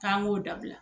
K'an k'o dabila